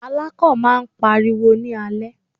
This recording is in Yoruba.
Alákàn máà ń pariwo ní alẹ́.